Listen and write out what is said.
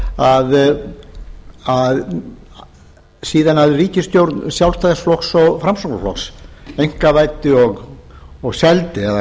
svo að síðan ríkisstjórn sjálfstæðisflokks og framsóknarflokks einkavæddi og seldi eða